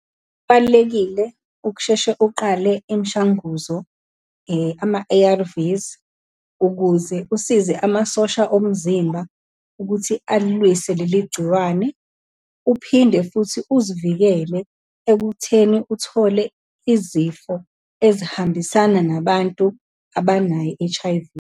Kubalulekile ukusheshe uqale imishanguzo ama-A_R_Vs, ukuze usize amasosha omzimba ukuthi alilwise leli gciwane. Uphinde futhi uzivikele ekutheni uthole izifo ezihambisana nabantu abanayo i-H_I_V.